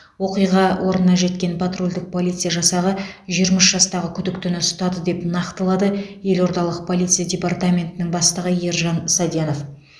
оқиға орнына жеткен патрульдік полиция жасағы жиырма үш жастағы күдіктіні ұстады деп нақтылады елордалық полиция департаментінің бастығы ержан саденов